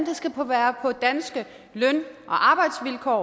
det skal være på danske løn og arbejdsvilkår